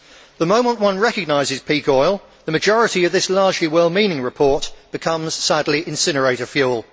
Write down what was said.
The moment one recognises peak oil, the majority of this largely well meaning report becomes, sadly, incinerator fuel.